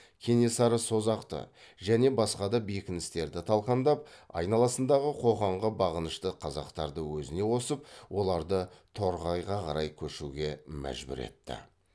кенесары созақты және басқа да бекіністерді талқандап айналасындағы қоқанға бағынышты қазақтарды өзіне қосып оларды торғайға қарай көшуге мәжбүр етті